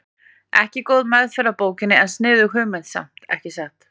Ekki góð meðferð á bókinni en sniðug hugmynd samt, ekki satt?